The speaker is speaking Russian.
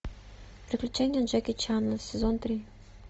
приключения джеки чана сезон три